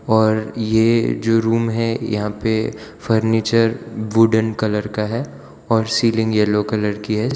और ये जो रूम है यहां पे फर्नीचर वुडन कलर का है और सीलिंग येलो कलर की है।